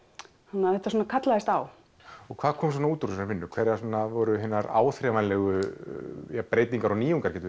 þannig að þetta svona kallaðist á og hvað kom út úr þessari vinnu hverjar voru áþreifanlegar breytingar og nýjungar getum